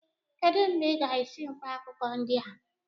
Kedụ mgbe ị ga-esi mkpaakwụkwọ ndị a?